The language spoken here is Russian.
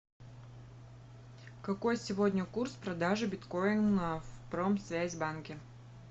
какой сегодня курс продажи биткоина в промсвязь банке